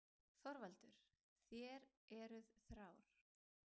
ÞORVALDUR: Þér eruð þrár.